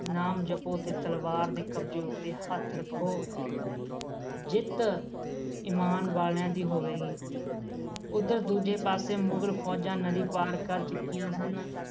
ਨਾਮ ਜਪੋ ਤੇ ਤਲਵਾਰ ਦੇ ਕਬਜੇ ਉੱਤੇ ਹੱਥ ਰੱਖੋ ਜਿੱਤ ਇਮਾਨ ਵਾਲਿਆ ਦੀ ਹੋਵੇਗੀ ਉਦਰ ਦੂਜੇ ਪਾਸੇ ਮੁਗਲ ਫੌਜਾਂ ਨਦੀ ਪਾਰ ਕਰ ਚੁੱਕੀਆ ਸਨ